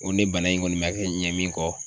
Nko ne bana in kɔni ma kɛ ɲɛ min kɔ